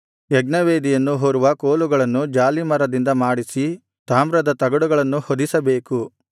ಯಜ್ಞವೇದಿಯನ್ನು ಹೊರುವ ಕೋಲುಗಳನ್ನು ಜಾಲೀಮರದಿಂದ ಮಾಡಿಸಿ ತಾಮ್ರದ ತಗಡುಗಳನ್ನು ಹೊದಿಸಬೇಕು